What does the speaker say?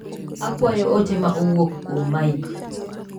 Akwayo ote ma owuok kuom Mike.